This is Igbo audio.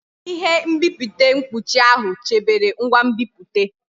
Ihe nbipute mkpuchi ahụ chebere ngwa nbipute.